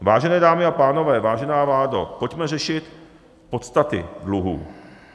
Vážené dámy a pánové, vážená vládo, pojďme řešit podstaty dluhů.